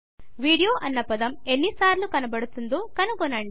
video అన్న పదం ఎన్ని సార్లు కనపడుతుందో కనుగొనండి